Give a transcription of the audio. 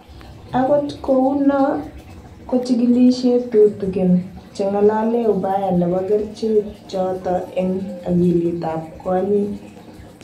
Angot kou no ko chikilisyet tutigin che ng'alale ubaya nebo kerichekchoto eng akilit ab kwonyik